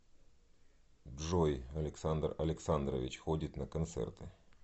джой александр александрович ходит на концерты